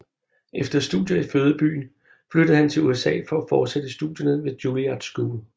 Efter studier i fødebyen flyttede han til USA for at fortsætte studierne ved Juilliard School